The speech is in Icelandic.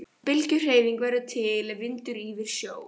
Bylgjuhreyfing verður til er vindur ýfir sjó.